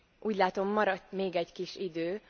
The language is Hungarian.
Úgy látom, maradt még egy kis idő.